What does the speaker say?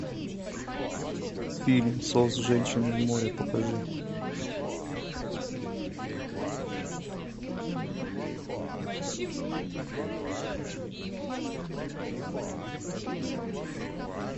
фильм сос женщины в море покажи